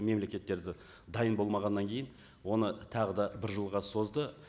мемлекеттері де дайын болмағаннан кейін оны тағы да бір жылға созды